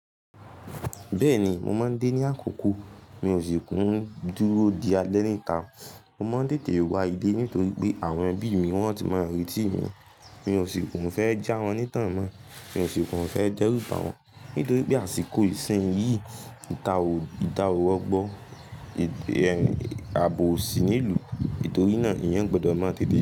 Bẹ́ẹ̀ni, mo máa ń dé ní àkókò. Mi ò sì kún dúró di alẹ́ níta. Mo máa ń tètè wá ìle nítorí pé àwọn ẹbí mi wọ́n ti máa ń retí mi. Mi ò sì kún fẹ́ já wọn ní tàn mọ́. Mi ò sì kín fẹ́ jẹ́rúba wọn. Nítorí pé àsìkò ìsìn yìí ìta ò rogbó, àbò sì nílùú. Nítorí náà, èyàn gbọ́dọ̀ máa tètè dé.